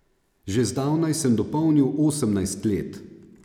Že zdavnaj sem dopolnil osemnajst let.